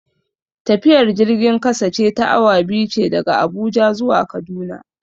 Tafiyar jirgin kasa ce ta awa biyu ce daga Abuja zuwa Kaduna.